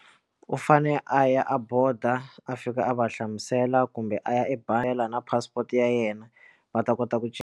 U fane a ya a boda a fika a va hlamusela kumbe a ya ebangi na passport ya yena va ta kota ku cinca.